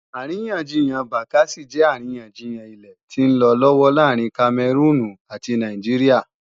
Àríyànjiyàn Bakassi jẹ́ àríyànjiyàn ilẹ̀ tí ń lọ lọ́wọ́ láàrin Kamẹrúùnù ati Nàìjíríà